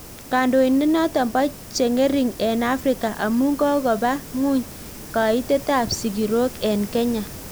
Kandoindet notok Po chengering eng Afrika amuu kokopaa nguny kaitet ap sigiroik eng kenya